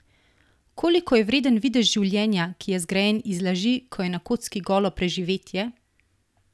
Koliko je vreden videz življenja, ki je zgrajen iz laži, ko je na kocki golo preživetje?